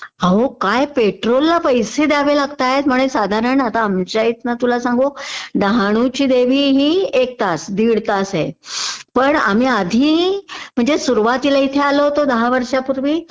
अहो काय पेट्रोलला पैसे द्यावे लागताहेत म्हणे साधारण आता आमच्या इथनं तुला सांगू डहाणूची देवी हि एक तास दीड तास आहे. पण आम्ही आधी म्हणजे सुरुवातीला इथे आलो होतो दहा वर्षांपूर्वी